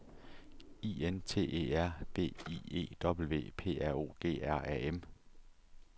I N T E R V I E W P R O G R A M